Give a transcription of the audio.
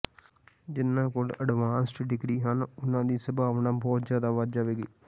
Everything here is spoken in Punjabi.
ਜਿਨ੍ਹਾਂ ਕੋਲ ਅਡਵਾਂਸਡ ਡਿਗਰੀ ਹਨ ਉਹਨਾਂ ਦੀ ਸੰਭਾਵਨਾ ਬਹੁਤ ਜ਼ਿਆਦਾ ਵੱਧ ਜਾਵੇਗੀ